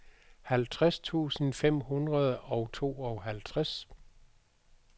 halvtreds tusind fem hundrede og tooghalvtreds